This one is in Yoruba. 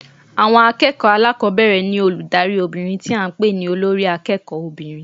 Àwon akéèkòó alákòbéèrè ní olùdarí obìnrin tí a n pè ní Olórí akéèkó obìnrin